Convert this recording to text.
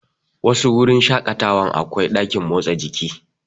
Wasu wurin shaƙatawan akwai ɗakin motsa jiki.